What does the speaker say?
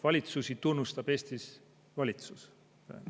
Valitsusi tunnustab Eestis valitsus.